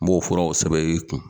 N b'o fɔraw sɛbɛ y'i kun.